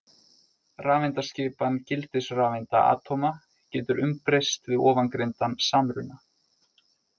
Rafeindaskipan gildisrafeinda atóma getur umbreyst við ofangreindan samruna.